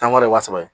Tankɔrɔ ye wa saba ye